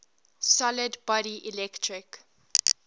solid body electric